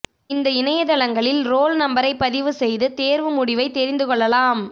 இந்த இணையதளங்களில் ரோல் நம்பரை பதிவு செய்து தேர்வு முடிவை தெரிந்து கொள்ளலாம்